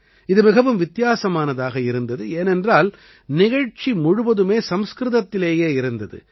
இது மிகவும் வித்தியாசமானதாக இருந்தது ஏனென்றால் நிகழ்ச்சி முழுவதுமே சம்ஸ்கிருதத்திலேயே இருந்தது